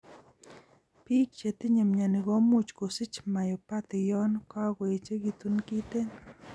Biik chetinye myoni komuch kosich myopathy yon kagoechegitun kiten